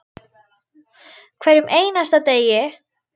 Hverjum einasta degi.